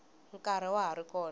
nkarhi wa ha ri kona